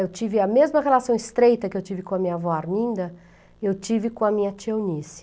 Eu tive a mesma relação estreita que eu tive com a minha avó Arminda, eu tive com a minha tia Eunice.